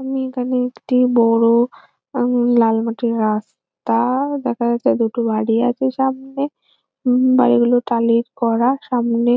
আমি এখানে একটি বড়ো আম লাল মাটির রাস্তা-আ দেখা যাচ্ছে আর দুটো বাড়ি আছে সামনে। উম বাড়ি গুলো টালির করা। সামনে